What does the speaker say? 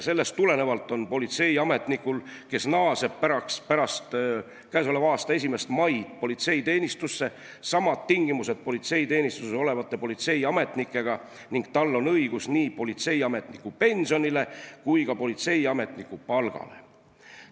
Sellest tulenevalt on politseiametnikul, kes naaseb pärast 1. maid politseiteenistusse, samad tingimused politseiteenistuses olevate politseiametnikega ning tal on õigus nii politseiametniku pensionile kui ka politseiametniku palgale.